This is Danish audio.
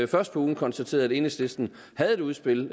først på ugen konstaterede at enhedslisten havde et udspil